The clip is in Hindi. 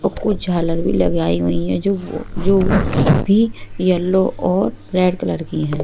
अ कुछ झालर भी लगाई हुईं हैं जो जो भी येलो और रेड कलर की हैं।